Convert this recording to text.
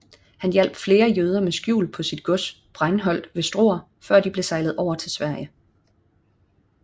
Han hjalp flere jøder med skjul på sit gods Breinholdt ved Struer før de blev sejlet over til Sverige